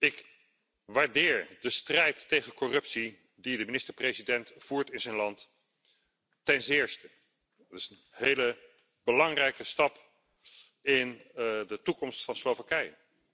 Ik waardeer de strijd tegen corruptie die de minister president voert in zijn land ten zeerste. Dat is een hele belangrijke stap in de toekomst van Slowakije.